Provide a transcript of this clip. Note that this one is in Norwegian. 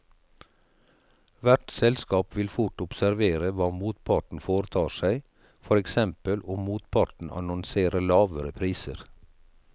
Hvert selskap vil fort observere hva motparten foretar seg, for eksempel om motparten annonserer lavere priser.